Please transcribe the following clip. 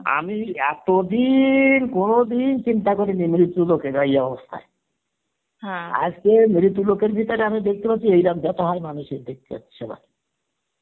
আমি এতদিন কোনদিন চিন্তা করিনি মৃতু লোকেরা এই অবস্থা হয় আজকে মৃতু লোকের ভিতরে আমি দেখতে পাচ্ছি এইরম বেথা হয় মানুষের দেখতে পাচ্ছি সবার